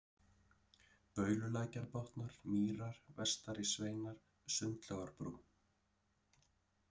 Baululækjarbotnar, Mýrar, Vestari-Sveinar, Sundlágarbrú